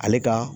Ale ka